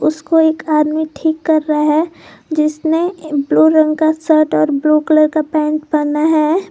उसको एक आदमी ठीक कर रहा है जिसमें ब्लू रंग का शर्ट और ब्लू कलर का पेंट पहना है।